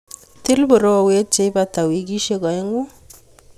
Tii borowet leibata wikisiek oeng'u.